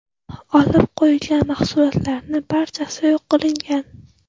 Olib qo‘yilgan mahsulotlarning barchasi yo‘q qilingan.